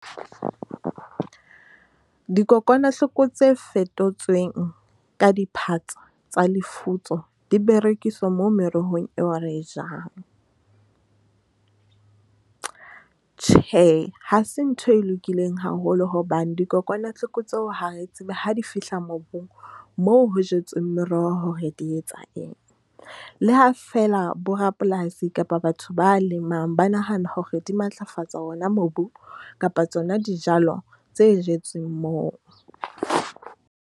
Dikokwanahloko tse fetotsweng ka diphatsa tsa lefutso di berekiswa moo merohong eo re jang. Tjhe, ha se ntho e lokileng haholo hobane dikokwanahloko tseo ha re tsebe ha di fihla mobung moo ho jetsweng meroho ho di etsa eng. Le ha feela bo rapolasi kapa batho ba lemangba nahana hore di matlafatsa ona mobu kapa tsona dijalo tse jetsweng moo.